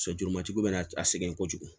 Sojuru matigiw be na a sɛgɛn kojugu